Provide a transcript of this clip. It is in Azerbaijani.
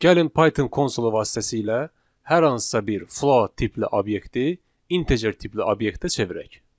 Gəlin Python konsolu vasitəsilə hər hansısa bir float tipli obyekti integer tipli obyektə çevirək.